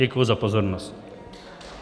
Děkuji za pozornost.